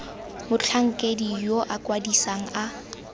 motlhankedi yo o kwadisang a